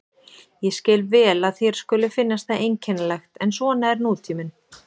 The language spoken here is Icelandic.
Ég skil vel að þér skuli finnast það einkennilegt en svona er nútíminn.